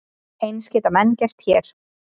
Eins geta menn gert hér.